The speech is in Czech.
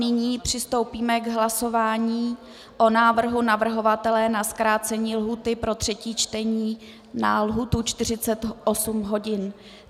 Nyní přistoupíme k hlasování o návrhu navrhovatele na zkrácení lhůty pro třetí čtení na lhůtu 48 hodin.